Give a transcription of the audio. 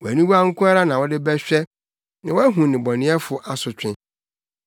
Wʼaniwa nko ara na wode bɛhwɛ na woahu nnebɔneyɛfo asotwe.